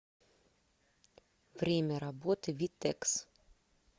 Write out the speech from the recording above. время работы витекс